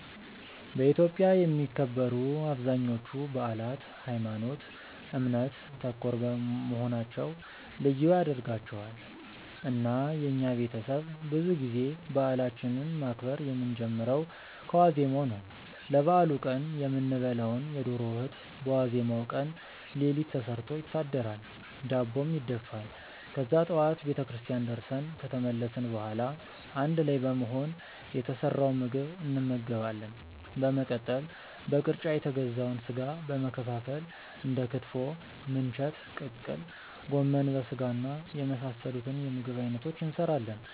በኢትዮጵያ የሚከበሩ አብዛኞቹ በአላት ሀይማኖት ( እምነት) ተኮር መሆናቸው ልዩ ያደርጋቸዋል። እና የኛ ቤተሰብ ብዙ ጊዜ በአላችንን ማክበር የምንጀምረው ከዋዜማው ነው። ለበአሉ ቀን የምንበላውን የዶሮ ወጥ በዋዜማው ቀን ሌሊት ተሰርቶ ይታደራል፤ ዳቦም ይደፋል። ከዛ ጠዋት ቤተክርስቲያን ደርሰን ከተመለስን በኋላ አንድ ላይ በመሆን የተሰራውን ምግብ እንመገባለን። በመቀጠል በቅርጫ የተገዛውን ስጋ በመከፋፈል እንደ ክትፎ፣ ምንቸት፣ ቅቅል፣ ጎመን በስጋና የመሳሰሉት የምግብ አይነቶችን እንሰራለን።